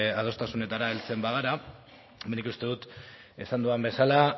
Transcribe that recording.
adostasunetara heltzen bagara nik uste dut esan dudan bezala